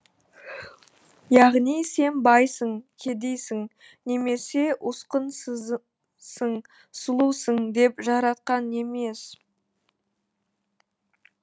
яғни сен байсың кедейсің немесе усқынсызсың сұлусың деп жаратқан емес